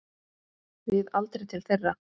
Við aldrei til þeirra.